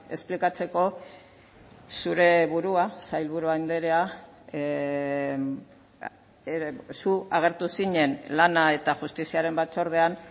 esplikatzeko zure burua sailburu andrea zu agertu zinen lana eta justiziaren batzordean